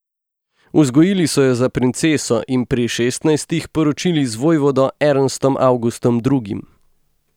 Vzgojili so jo za princeso in pri šestnajstih poročili z vojvodo Ernstom Avgustom drugim.